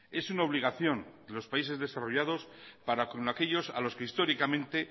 es una obligación de los países desarrollados para con aquellos a los que históricamente